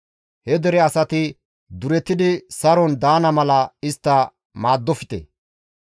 He dere asati duretidi saron daana mala istta maaddofte.